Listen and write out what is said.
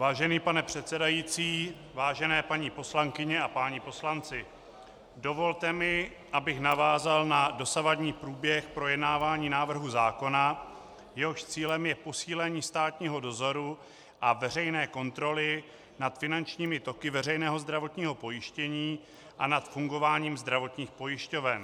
Vážený pane předsedající, vážené paní poslankyně a páni poslanci, dovolte mi, abych navázal na dosavadní průběh projednávání návrhu zákona, jehož cílem je posílení státního dozoru a veřejné kontroly nad finančními toky veřejného zdravotního pojištění a nad fungováním zdravotních pojišťoven.